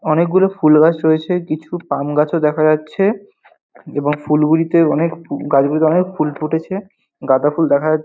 অনেকগুলো ফুল গাছ রয়েছে কিছু পাম গাছও দেখা যাচ্ছে এবং ফুলগুলিতে অনেক গাছগুলিতে অনেক ফুল ফুটেছে গাদাঁ ফুল দেখা যা--